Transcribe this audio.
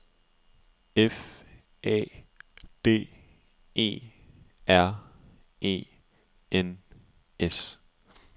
F A D E R E N S